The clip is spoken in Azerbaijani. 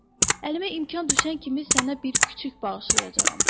Əlimə imkan düşən kimi sənə bir kiçik bağışlayacağam.